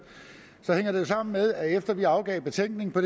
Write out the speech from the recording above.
hænger det sammen med at efter at vi afgav betænkning har